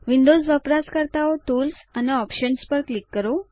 Windows વપરાશકર્તાઓ tools અને options પર ક્લિક કરો